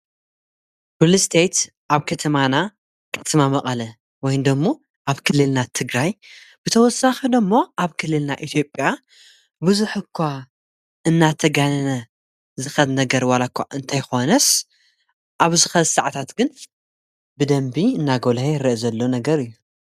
ብልስተይት ኣብ ከተማና ከተማ መቐለ ወይንዶሙ ኣብ ክልልና ትግራይ ብተወሳኺዶ እሞ ኣብ ክልልና ኢትዮጵያ ብዙሕ እኳ እናተጋነነ ዝኸት ነገር ዋላእኳ እንተይኮነስ ኣብ ዝኸዝሰዕታት ግን ብደንቢ እናጐልይ ዝርአ ዘሎ ነገር እዩ።